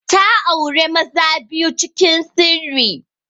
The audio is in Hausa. Ta aure maza biyu cikin sirri.